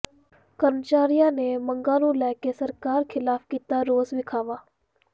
ਕਰਮਚਾਰੀਆਂ ਨੇ ਮੰਗਾਂ ਨੂੰ ਲੈ ਕੇ ਸਰਕਾਰ ਿਖ਼ਲਾਫ਼ ਕੀਤਾ ਰੋਸ ਵਿਖ਼ਾਵਾ